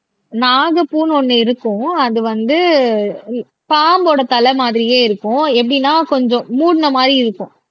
நாகப்பூன்னு ஒண்ணு இருக்கும் அது வந்து பாம்போட தலை மாதிரியே இருக்கும் எப்படின்னா கொஞ்சம் மூடின மாதிரி இருக்கும்